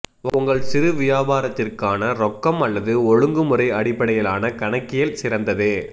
உங்கள் சிறு வியாபாரத்திற்கான ரொக்கம் அல்லது ஒழுங்குமுறை அடிப்படையிலான கணக்கியல் சிறந்தது